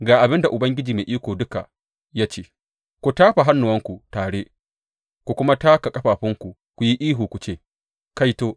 Ga abin da Ubangiji Mai Iko Duka ya ce ku tafa hannuwanku tare ku kuma taka ƙafafunku ku yi ihu ku ce, Kaito!